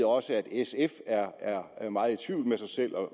også at sf er meget i tvivl med sig selv og